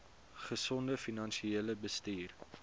gesonde finansiële bestuur